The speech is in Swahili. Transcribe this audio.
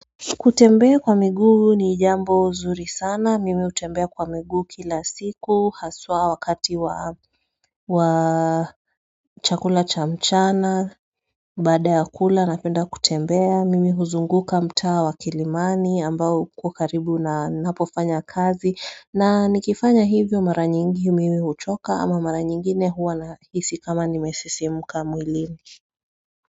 Kutembea kwa miguu ni jambo zuri sana, mimi hutembea kwa miguu kila siku, haswaa wakati wa chakula cha mchana, baada ya kula napenda kutembea, mimi huzunguka mtaa wa kilimani ambao uko karibu na ninapofanya kazi, na nikifanya hivyo mara nyingi mimi huchoka ama mara nyingine huwa nahisi kama nimesisimuka mwili.